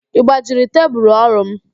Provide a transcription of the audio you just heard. Ị gbajiri tebulu orụ m?